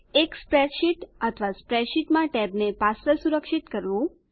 એક સ્પ્રેડશીટ અથવા સ્પ્રેડશીટમાં ટેબને પાસવર્ડ સુરક્ષિત કરવું